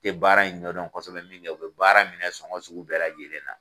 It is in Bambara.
tɛ baara in ɲɛdɔn kɔsɔbɛ min kɛ u bɛ baara minɛ sɔgɔn sugu bɛɛ lajɛlen na.